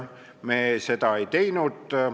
Meie seda ei teinud.